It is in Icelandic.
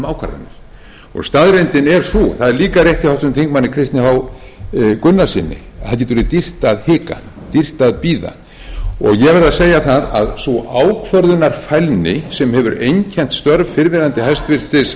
um ákvarðanir staðreyndin er sú það er líka rétt hjá háttvirtum þingmanni kristni h gunnarssyni að það getur verið dýrt að hika dýrt að bíða ég verð að segja það að sú ákvörðunarfælni sem hefur einkennt störf fyrrverandi hæstvirtum heilbrigðisráðherra hefur verið